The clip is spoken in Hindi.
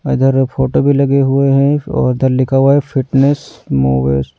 इधर फोटो भी लगे हुए हैं और उधर लिखा हुआ है फिटनेस मूवर्स --